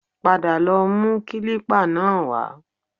Padà lọ mú kílípà náà wá